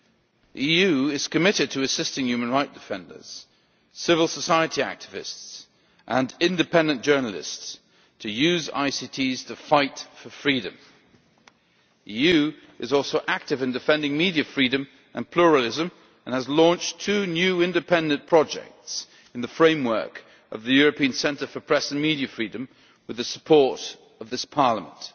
The EU is committed to assisting human rights defenders, civil society activists, and independent journalists to use ICTs to fight for freedom. The EU is also active in defending media freedom and pluralism, and has launched two new independent projects within the framework of the European Centre for Press and Media Freedom, with the support of this Parliament.